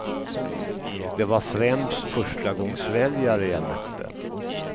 Det var främst förstagångsväljare jag mötte.